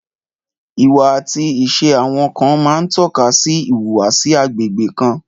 Ìwà àti ìṣe àwùjọ kan máa ń tọ́ka sí ìhùwàsí agbègbè kan